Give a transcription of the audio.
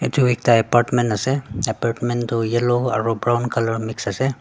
edu ekta apartment ase apartment toh yellow aro brown colour mix ase.